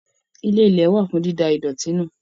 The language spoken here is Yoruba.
Ilé-ilẹ̀ wà fún dída ìdọ̀tí nù.